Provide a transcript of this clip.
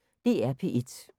DR P1